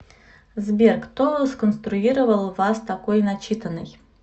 сбер кто сконструировал вас такой начитанной